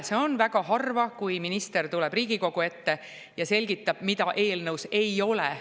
Seda on väga harva, kui minister tuleb Riigikogu ette ja selgitab, mida eelnõus ei ole.